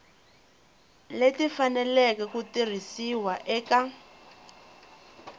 leti faneleke ku tirhisiwa eka